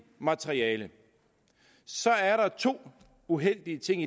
materiale er der to uheldige ting